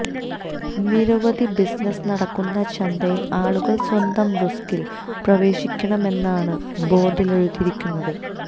നിരവധി ബിസിനസ് നടക്കുന്ന ചന്തയിൽ ആളുകൾ സ്വന്തം റിസ്ക്കിൽ പ്രവേശിക്കണമെന്നാണ് ബോർഡിൽ എഴുതിയിരിക്കുന്നത്